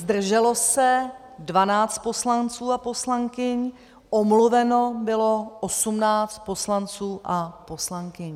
Zdrželo se 12 poslanců a poslankyň, omluveno bylo 18 poslanců a poslankyň.